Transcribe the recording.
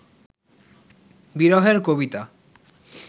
বিরহের কবিতা